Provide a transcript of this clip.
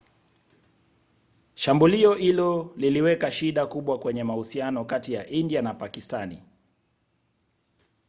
shambulio hilo liliweka shida kubwa kwenye mahusiano kati ya india na pakistani